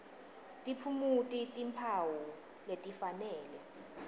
tiphumuti timphawu letifanele